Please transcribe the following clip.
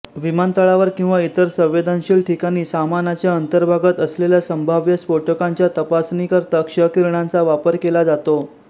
विमानतळावर किंवा इतर संवेदनशील ठिकाणी सामानाच्या अंतर्भागात असलेल्या संभाव्य स्फोटकांच्या तपासणीकरता क्षकिरणांचा वापर केला जातो